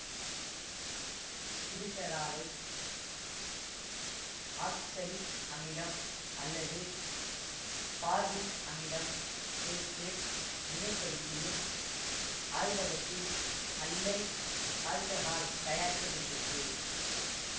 கிளிசராலை oxalic அமிலம் அல்லது formic அமிலம் சேர்த்து வினைப்படுத்தியும் ஆய்வகத்தில் அல்லைல் ஆல்ககால் தயாரிக்க படுகிறது